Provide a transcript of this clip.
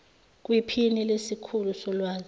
kwiphini lesikhulu solwazi